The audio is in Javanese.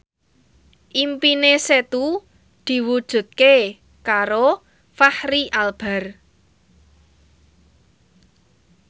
impine Setu diwujudke karo Fachri Albar